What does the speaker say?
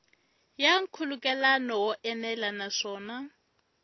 ya nkhulukelano wo enela naswona